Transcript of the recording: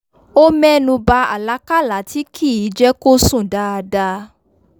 ó mẹ́nuba àlákálà tí kìí jẹ́ kó sùn dáadáa